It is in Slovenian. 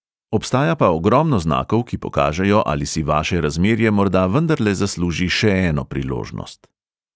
Obstaja pa ogromno znakov, ki pokažejo, ali si vaše razmerje morda vendarle zasluži še eno priložnost ...